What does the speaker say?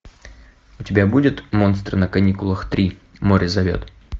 у тебя будет монстры на каникулах три море зовет